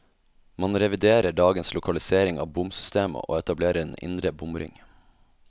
Man reviderer dagens lokalisering av bomsystemet, og etablerer en indre bomring.